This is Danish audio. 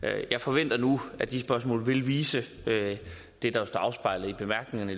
jeg forventer nu at de spørgsmål vil vise det der er afspejlet i bemærkningerne